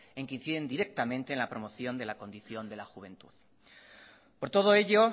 en que inciden directamente en la promoción de la condición de la juventud por todo ello